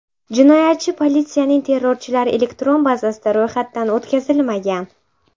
Jinoyatchi politsiyaning terrorchilar elektron bazasida ro‘yxatdan o‘tkazilmagan.